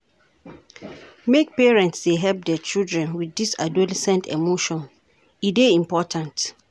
Make parents dey help their children wit dese adolescent emotions, e dey important.